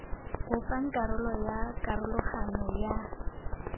bopang karolo ya karologanyo ya